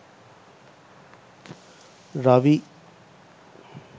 ravi